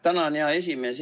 Tänan, hea esimees!